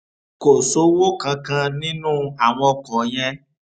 kò sówó kankan nínú àwọn ọkọ yẹn